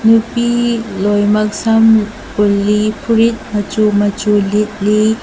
ꯅꯨꯄꯤ ꯂꯣꯏꯃꯛ ꯁꯝ ꯄꯨꯜꯂꯤ ꯐꯨꯔꯤꯠ ꯃꯆꯨ ꯃꯆꯨ ꯂꯤꯠꯂꯤ꯫